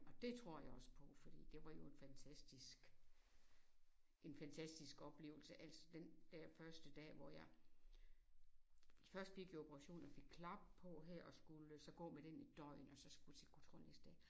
Og dét tror jeg også på fordi det var jo en fantastisk en fantastisk oplevelse. Altså den der første dag hvor jeg først fik jeg operationen og fik klap på her og skulle så gå med den et døgn og så skulle til kontrol næste dag